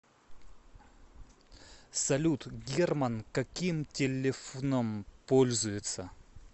салют герман каким телефном пользуется